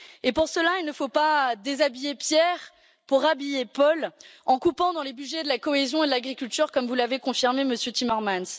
Pour cela, il ne faut pas déshabiller Pierre pour habiller Paul, en coupant dans les budgets de la cohésion et de l'agriculture, comme vous l'avez confirmé, Monsieur Timmermans.